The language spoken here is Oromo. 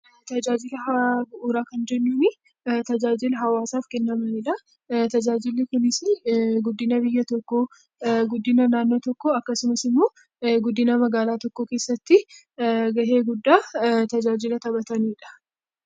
Tajaajila haaraa bu'uura kan jennuuni tajaajila hawaasaf kennamanidha. Inni kunis guddina biyya tokko, guddina naannno tokko, akkasumatti immo guddina magaala keessatti ga'ee gudda tajaajila taphatanidha.